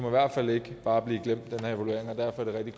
i hvert fald ikke bare blive glemt